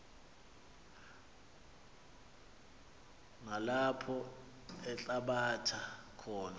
nalapho althabatha khona